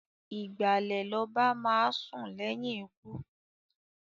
Ìgbàlè l'oba máá sùn léyìn ikú.